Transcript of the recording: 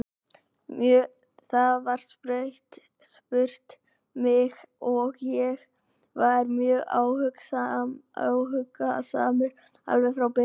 Það var spurt mig og ég var mjög áhugasamur alveg frá byrjun.